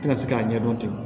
Tɛna se k'a ɲɛ dɔn ten